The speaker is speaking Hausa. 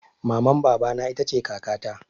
Maman baba na ita ce kaka ta